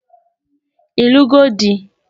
Ịlụgo di?